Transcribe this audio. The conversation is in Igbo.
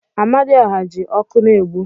Amadioha ji oku na-egbu.